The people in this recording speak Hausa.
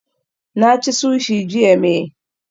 Na ci sushi jiya may